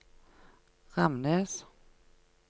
Ramnes